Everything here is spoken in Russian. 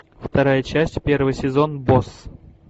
вторая часть первый сезон босс